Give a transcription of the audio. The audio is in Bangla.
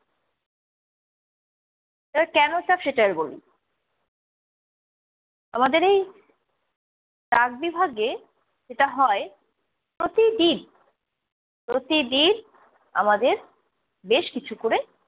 এবার কেন চাপ সেটা এবার বলি। আমাদের এই ডাক বিভাগে যেটা হয় প্রতিদিন, প্রতিদিন আমাদের বেশ কিছু করে-